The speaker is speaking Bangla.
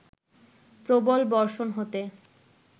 প্রবল বর্ষণ হতে